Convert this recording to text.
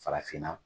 Farafinna